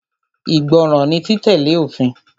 Ìgbọràn ni títẹ̀lé òfin.